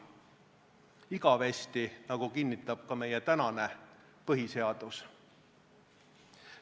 Igavesti, nagu kinnitab ka meie tänane põhiseadus.